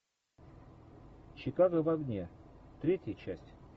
чикаго в огне третья часть